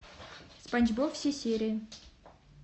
спанч боб все серии